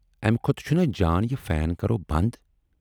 امہِ کھۅتہٕ چھُنا جان یہِ فین کرو بَند۔